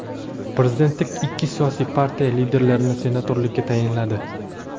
Prezident ikki siyosiy partiya liderlarini senatorlikka tayinladi.